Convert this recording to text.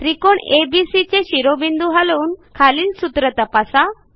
त्रिकोण एबीसी चे शिरोबिंदू हलवून खालील सूत्र तपासा